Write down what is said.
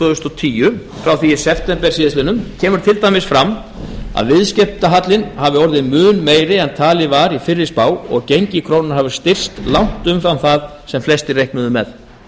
þúsund og tíu frá því í september kemur til dæmis fram að viðskiptahallinn hafi orðið mun meiri en talið var í fyrri spá og gengi krónunnar hafi styrkst langt umfram það sem flestir reiknuðu með